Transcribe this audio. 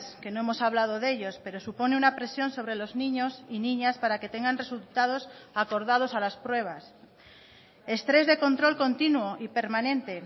que no hemos hablado de ellos pero supone una presión sobre los niños y niñas para que tengan resultados acordados a las pruebas estrés de control continuo y permanente